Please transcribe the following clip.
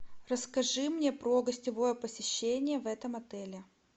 расскажи мне про гостевое посещение в этом отеле